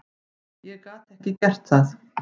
Ég gat ekki gert það.